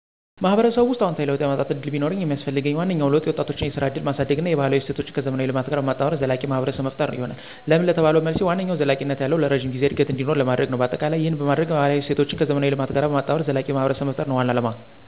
ማህበረሰቡ ውስጥ አዎንታዊ ለውጥ የማምጠት እድል ቢኖርኝ የሚስፈልገኝ ዋነኛው ለውጥ የወጣቶችን የስራ እድልን ማሳድግ እና የባህላዊ እሴቶችን ከዘመናዊ ልማት ጋር በማጣመር ዘላቂ ማህብረሰብ መፈጠር ይሆናል። ለምን ለተባለው መልሴ ዋነኛው ዘለቂነት ያለው(ለረጅም ጊዜ) እድገት እንዲኖር ለማድርግ ነው። በአጠቃላይ ይህን በማደርግ ባህላዊ እሴቶችን ከዘመናዊ ልማት ጋር በማጣመር ዘላቂ ማህብረሰብ መፍጠር ነው ዋናው አለማ።